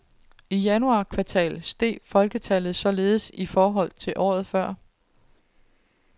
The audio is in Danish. I januar kvartal steg folketallet således i forhold til året før.